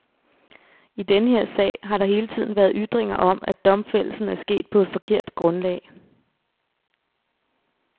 I denne her sag har der hele tiden været ytringer om, at domfældelsen er sket på et forkert grundlag.